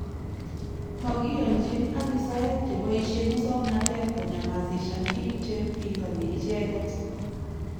Magiiyanchin abisayek che boisye musoknotet konyamasisyan biik che bingani icheket